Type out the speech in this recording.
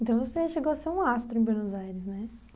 Então você chegou a ser um astro em Buenos Aires, né?